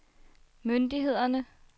myndighederne